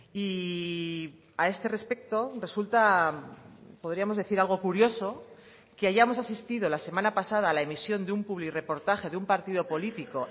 y a este respecto resulta podríamos decir algo curioso que hayamos asistido la semana pasada a la emisión de un publirreportaje de un partido político